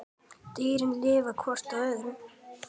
Dýrin lifa hvert á öðru.